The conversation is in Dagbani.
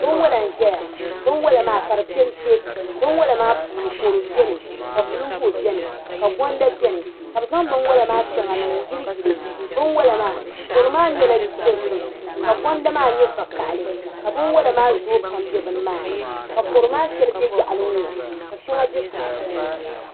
Binwala nzaya . binwala. kadi pɛmpɛ binwala maa puuni kodu bɛni ka bulumbuɣu ka gonda bɛni kabɛzaŋ binwala maa sha ŋa n niŋ n yili yili binwala. maa. kodu maa nyala. dozim ka gonda maa nye vakahali kabinwala maa zoo pam,n bɛ. nimaani ka kodu maa. shɛli bɛ yaɣili. n ŋɔ ka shɛŋa bɛ sun suuni